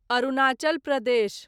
Arunachal Pradesh